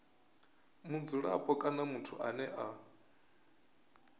mudzulapo kana muthu ane a